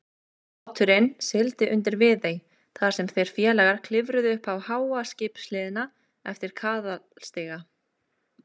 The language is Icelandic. Báturinn sigldi undir Viðey, þar sem þeir félagar klifruðu upp háa skipshliðina eftir kaðalstiga.